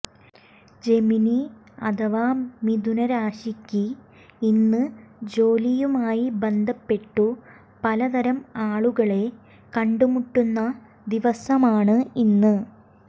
Gemini അഥവാ മിഥുന രാശിയ്ക്ക് ഇന്ന് ജോലിയുമായി ബന്ധപ്പെട്ടു പലതരം ആളുകളെ കണ്ടു മുട്ടുന്ന ദിവസമാണ് ഇന്ന്